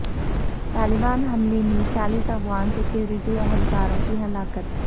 طالبان حملے میں چالیس افغان سکیورٹی اہلکاروں کی ہلاکت